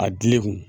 A dili kun